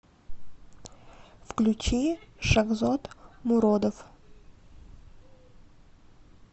включи шахзод муродов